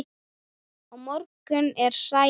Á morgun er sælan.